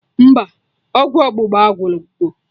Mba, ọgwụ ọgbụgba agwugo